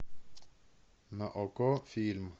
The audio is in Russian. на окко фильм